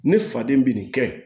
Ne faden bɛ nin kɛ